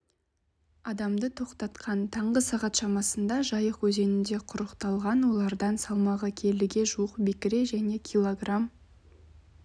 адамды тоқтатқан таңғы сағат шамасында жайық өзенінде құрықталған олардан салмағы келіге жуық бекіре және кг